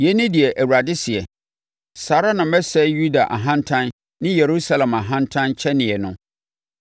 “Yei ne deɛ Awurade seɛ, ‘Saa ara na mɛsɛe Yuda ahantan ne Yerusalem ahantan kyɛneɛ no.